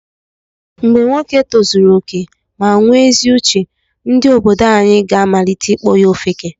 Mgbe nwoke tozuru okè ma onwe ezi uche, ndị obodo anyi ga amalite ịkpọ ya ofeke.